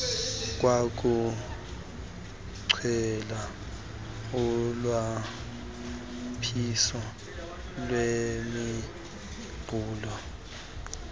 kwakugcwele ulwaphice lwemiqulu